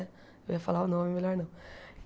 Eu ia falar o nome melhor não.